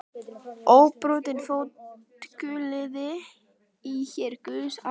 Óbrotinn fótgönguliði í her guðs almáttugs.